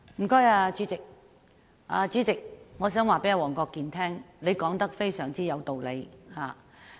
代理主席，我想告訴黃國健議員，他說得非常有道理。